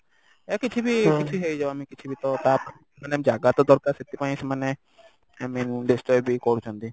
ୟା କିଛି ବି କିଛି ହେଇଯାଉ ଆମେ କିଛି ବି ତ ତା ମାନେ ଜାଗା ତ ଦରକାର ସେଥିପାଇଁ ସେମାନେ i mean destroy ବି କରୁଛନ୍ତି